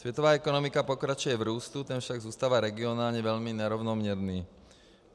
Světová ekonomika pokračuje v růstu, ten však zůstává regionálně velmi nerovnoměrný.